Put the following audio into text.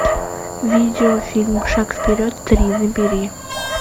видео фильм шаг вперед три набери